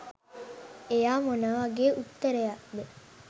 එයා මොන වගේ උත්තරයක්ද